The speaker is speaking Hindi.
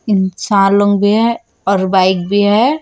इंसान लोग भी हैं और बाइक भी है।